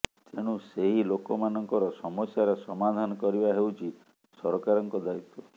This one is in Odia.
ତେଣୁ ସେହି ଲୋକମାନଙ୍କର ସମସ୍ୟାର ସମାଧାନ କରିବା ହେଉଛି ସରକାରଙ୍କ ଦାୟିତ୍ୱ